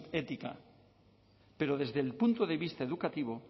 ética pero desde el punto de vista educativo